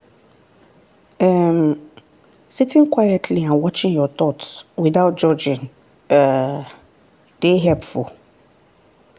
um sitting quietly and watching your thoughts without judging um dey helpful.